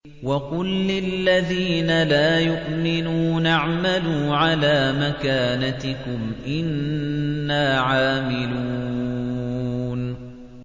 وَقُل لِّلَّذِينَ لَا يُؤْمِنُونَ اعْمَلُوا عَلَىٰ مَكَانَتِكُمْ إِنَّا عَامِلُونَ